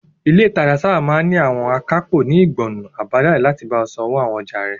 Ilé ìtajà máa sáábà ní àwọn akápò ní ìgbọnnu àbájáde láti bá ọ san owó àwọn ọjà rẹ.